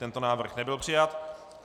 Tento návrh nebyl přijat.